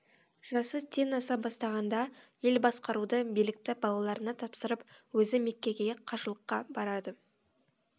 жасы тен аса бастағанда ел басқаруды билікті балаларына тапсырып өзі меккеге қажылыққа барады